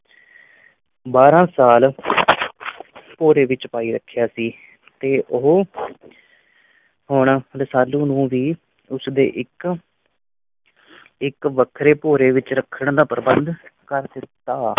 ਬਾਰਾਂ ਸਾਲ ਭੋਰੇ ਵਿੱਚ ਪਾਈ ਰੱਖਿਆ ਸੀ ਤੇ ਉਹ ਹੁਣ ਰਸਾਲੂ ਨੂੰ ਵੀ ਉਸ ਦੇ ਇੱਕ ਇੱਕ ਵੱਖਰੇ ਭੋਰੇ ਵਿੱਚ ਰੱਖਣ ਦਾ ਪ੍ਰਬੰਧ ਕਰ ਦਿੱਤਾ।